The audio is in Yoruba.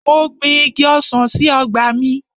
Mo gbin Igi ọsàn sí ọgbà mi.